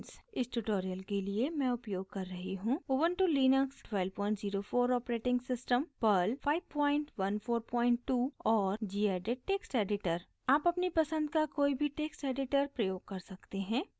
इस tutorial के लिए मैं उपयोग कर रही हूँ: